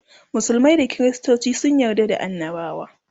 musulmai da kristoci sun yarda da annabawa